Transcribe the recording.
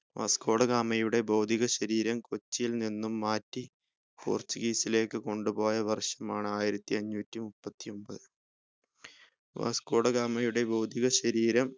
Vasco da ഗാമയുടെ ഭൗതിക ശരീരം കൊച്ചിയിൽ നിന്നും മാറ്റി portuguese ലേക്ക് കൊണ്ടു പോയ വർഷമാണ് ആയിരത്തിഅഞ്ഞൂറ്റി മുപ്പത്തി ഒമ്പത് വാസ്കോ ഡ ഗാമയുടെ ഭൗതിക ശരീരം